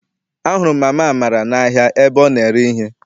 A hụrụ m mama Amara n'ahia ebe ọ na-ere ihe.